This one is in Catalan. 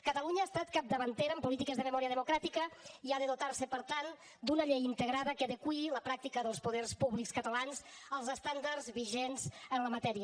catalunya ha estat capdavantera en polítiques de memòria democràtica i ha de dotar se per tant d’una llei integrada que adeqüi la pràctica dels poders públics catalans als estàndards vigents en la matèria